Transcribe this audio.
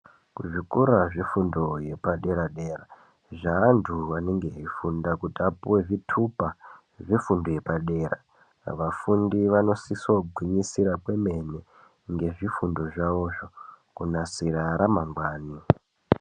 Kuzvikora zvefundo yepadera dera, zveanhu anenge eifunda kuti apuwe zvitupa zvefundo yepadera , vafundi vanosisogwinyisira kwemene ngezvifundo zvavozvo kunasira ramangwani